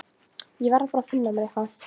Ég verð bara að finna mér eitthvað.